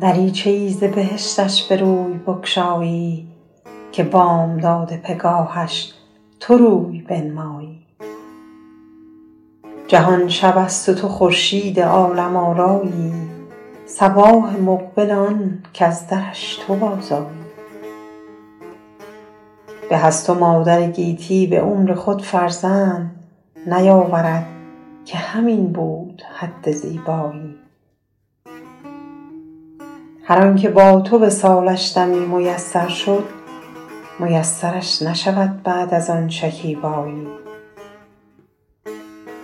دریچه ای ز بهشتش به روی بگشایی که بامداد پگاهش تو روی بنمایی جهان شب است و تو خورشید عالم آرایی صباح مقبل آن کز درش تو بازآیی به از تو مادر گیتی به عمر خود فرزند نیاورد که همین بود حد زیبایی هر آن که با تو وصالش دمی میسر شد میسرش نشود بعد از آن شکیبایی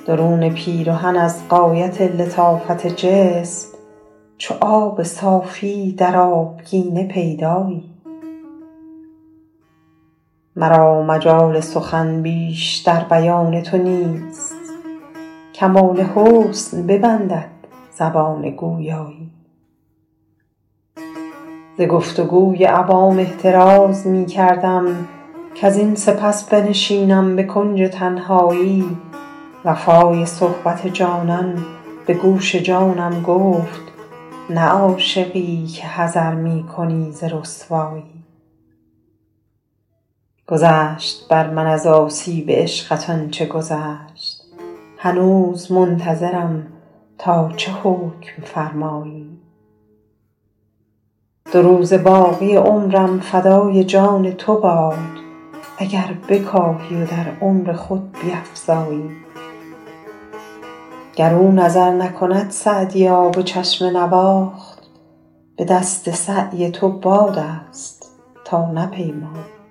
درون پیرهن از غایت لطافت جسم چو آب صافی در آبگینه پیدایی مرا مجال سخن بیش در بیان تو نیست کمال حسن ببندد زبان گویایی ز گفت و گوی عوام احتراز می کردم کزین سپس بنشینم به کنج تنهایی وفای صحبت جانان به گوش جانم گفت نه عاشقی که حذر می کنی ز رسوایی گذشت بر من از آسیب عشقت آن چه گذشت هنوز منتظرم تا چه حکم فرمایی دو روزه باقی عمرم فدای جان تو باد اگر بکاهی و در عمر خود بیفزایی گر او نظر نکند سعدیا به چشم نواخت به دست سعی تو باد است تا نپیمایی